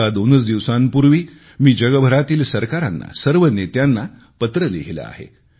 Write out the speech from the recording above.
आता दोनच दिवसांपूर्वी मी जगभरातील सरकारांना सर्व नेत्यांना पत्र लिहिले आहे